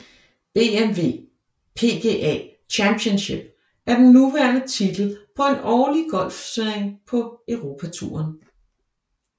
BMW PGA Championship er den nuværende titel på en årlig golfturnering på Europatouren